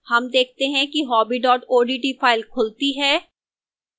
हम देखते हैं कि hobby odt file खुलती है